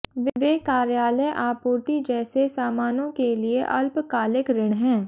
वे कार्यालय आपूर्ति जैसे सामानों के लिए अल्पकालिक ऋण हैं